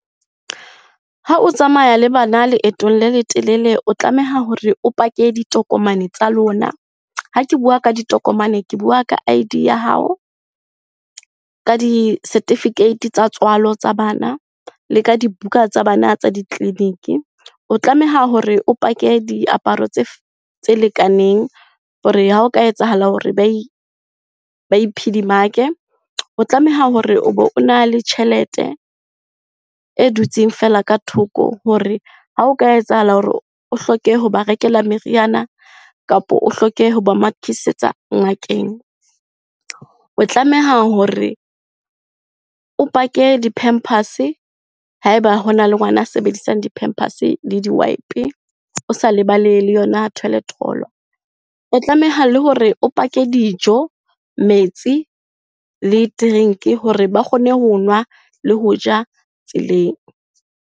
Ha o tsamaya le bana leetong le letelele, o tlameha hore o pake ditokomane tsa lona. Ha ke bua ka ditokomane, ke bua ka I_D ya hao, ka di-certificate tsa tswalo tsa bana, le ka dibuka tsa bana tsa ditleliniki. O tlameha hore o pake diaparo tse lekaneng hore ha o ka etsahala hore ba e, ba e phedimake. O tlameha hore o be o na le tjhelete e dutseng fela ka thoko hore ha o ka etsahala hore o hloke hoba rekela meriana, kapa o hloke hoba mathisetsa ngakeng. O tlameha hore o pake di-pampers-e haeba hona le ngwana a sebedisang di-pampers-e le di-wipe-e, o sa lebale le yona toilet roll-o. O tlameha le hore o pake dijo, metsi le drink-i hore ba kgone ho nwa le hoja tseleng.